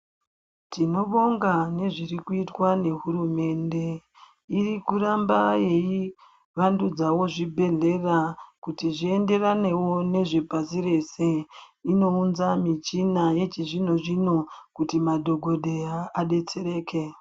Tinobonga ngezvirikuitwa ngeHurumende irikuramba yeivandudzawo zvibhedhlera kuti zvienderanewo nezve pashi reshe inounza michina yechizvino zvino kuti madhokodheya adetsereke.